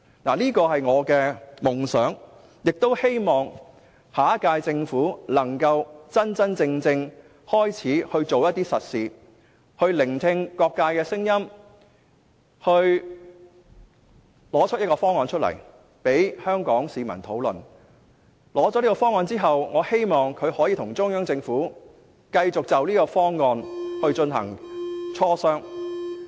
這是我的夢想，也希望下屆政府能夠真正開始做實事，聆聽各界的聲音，提出一個方案，供香港市民討論，並在提出這個方案之後，能夠繼續跟中央政府就方案進行磋商。